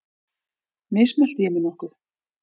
Mismælti ég mig nokkuð?